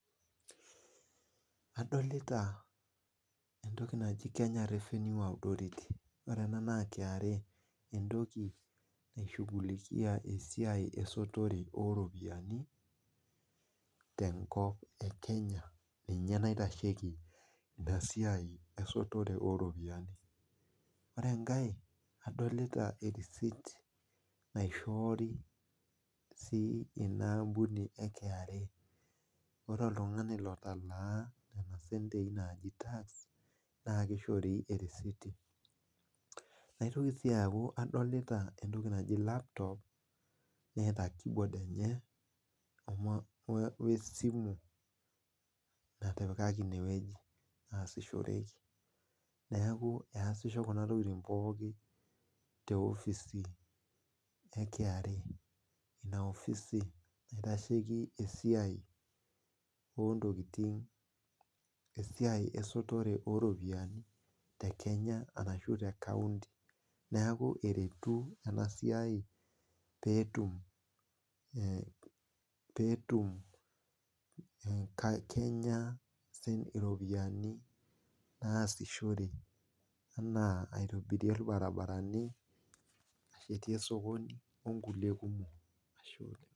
Adolita entoki naji kenya revenue authority entoki ena naishugulikia esiai esotore ooropiyiani tenkop ekenya ninye naitasheki ina siai esotore ooripiyiani ,ore enkae adolita sii ina recit naishooyo ina ambuni eKRA.ore oltungani otalaa nena sentei naaji tax naa keishoritae ericiti .naitoki sii aku kadolita laptop neeta kibod enye wesimu natipikaki ineweji naasishoreki, neeku eesisho kuna tokiting pookin tina ofisi eKRA, ina ofisi naitasheki esotore ooropiyiani tekenya ashu tekaonti .neeku eretu ena siai pee etum kenya iropiyiani naasishore enaa aitobirie irabaribarani ,osokonini inkulie kumok.